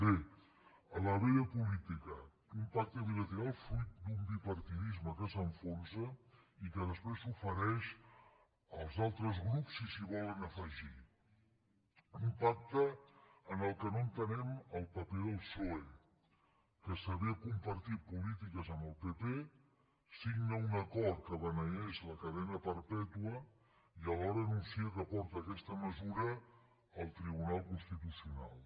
bé la vella política un pacte bilateral fruit d’un bipartidisme que s’enfonsa i que després s’ofereix als altres grups si s’hi volen afegir un pacte en què no entenem el paper del psoe que s’avé a compartir polítiques amb el pp signa un acord que beneeix la cadena perpètua i alhora anuncia que porta aquesta mesura al tribunal constitucional